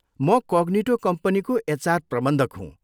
म कग्निटो कम्पनीको एचआर प्रबन्धक हुँ।